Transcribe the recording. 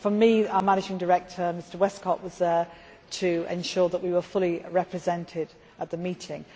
For me, our managing director, Mr Westcott, was there to ensure that we were fully represented at the meeting.